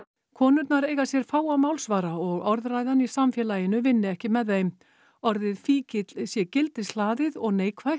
konurnar eigi sér fáa málsvara og orðræðan í samfélaginu vinni ekki með þeim orðið fíkill sé gildishlaðið og neikvætt